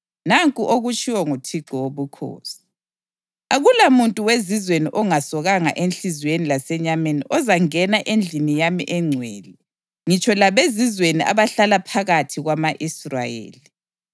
Nanku okutshiwo nguThixo Wobukhosi: Akulamuntu wezizweni ongasokanga enhliziyweni lasenyameni ozangena endlini yami engcwele ngitsho labezizweni abahlala phakathi kwama-Israyeli.